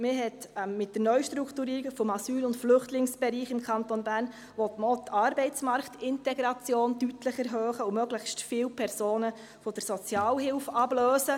Mit der Neustrukturierung des Asyl- und Flüchtlingsbereichs im Kanton Bern (NA-BE) will man auch die Arbeitsmarktintegration deutlich erhöhen und möglichst viele Personen von der Sozialhilfe ablösen.